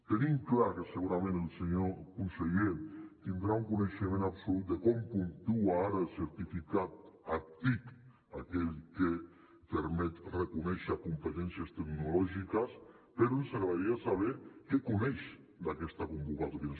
tenim clar que segurament el senyor conseller deu tenir un coneixement absolut de com puntua ara el certificat actic aquell que permet reconèixer competències tecnològiques però ens agradaria saber què coneix d’aquesta convocatòria